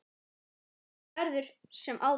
Ekkert verður sem áður.